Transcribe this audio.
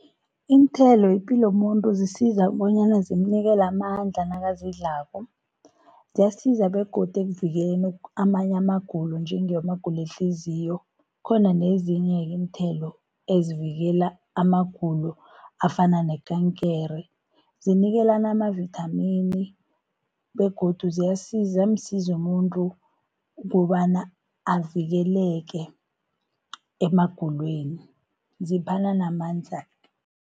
Iinthelo yipilo yomuntu, zisiza bonyana zimnikele amandla nakazidlalako. Ziyasiza begodu ekuvikeleni amanye amagulo, njengamagulo wehliziyo. Kukhona nezinye-ke iinthelo, ezivikela amagulo afana nekankere, zinikelana amavithamini, begodu ziyamsiza umuntu kobana avikeleke emagulweni, ziphana namandla.